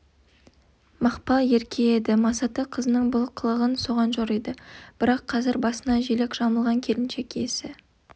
мақпал ерке еді масаты қызының бұл қылығын соған жориды бірақ қазір басына желек жамылған келіншек есі